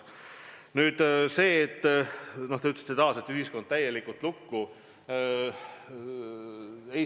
Nüüd, te ütlesite taas, et ühiskond pandi täielikult lukku.